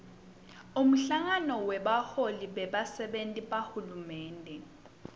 umhlangano webaholi bebasenti bahulumende